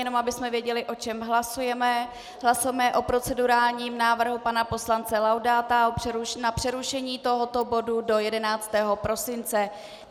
Jen abychom věděli, o čem hlasujeme - hlasujeme o procedurálním návrhu pana poslance Laudáta na přerušení tohoto bodu do 11. prosince.